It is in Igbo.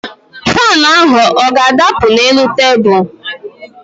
Faanụ ahụ ọ ga-adapụ n'elu tebul?